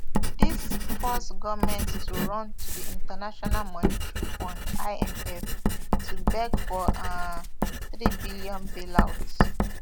dis force goment to run to di international monetary fund imf to beg for um threebn bailout